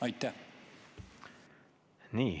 Aitäh!